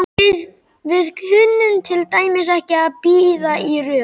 Við kunnum til dæmis ekki að bíða í röð.